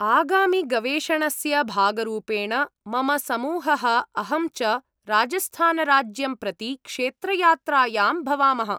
आगामिगवेषणस्य भागरूपेण मम समूहः, अहं च राजस्थानराज्यं प्रति क्षेत्रयात्रायां भवामः।